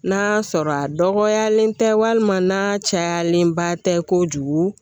N'a sɔrɔ a dɔgɔyalen tɛ walima n'a cayalenba tɛ kojugu